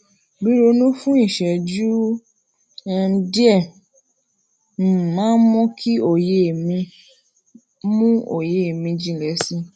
ríronú fún ìṣéjú um díè um máa ń mú òye mi mú òye mi jinlè si